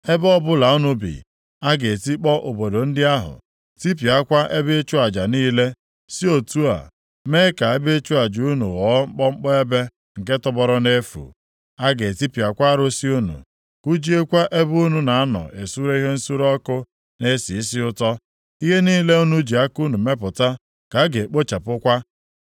Ebe ọbụla unu bi, a ga-etikpọ obodo ndị ahụ, tipịakwa ebe ịchụ aja niile, si otu a mee ka ebe ịchụ aja unu ghọọ mkpọmkpọ ebe nke tọgbọrọ nʼefu. A ga-etipịakwa arụsị unu, kụjiekwa ebe unu na-anọ esure ihe nsure ọkụ na-esi isi ụtọ. Ihe niile unu ji aka unu mepụta ka a ga-ekpochapụkwa.